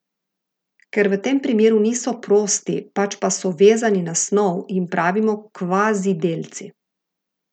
Ker v tem primeru niso prosti, pač pa so vezani na snov, jim pravimo kvazidelci.